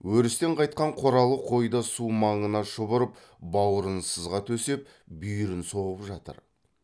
өрістен қайтқан қоралы қой да су маңына шұбырып баурын сызға төсеп бүйірін соғып жатыр